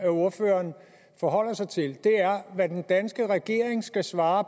ordføreren forholder sig til er hvad den danske regering skal svare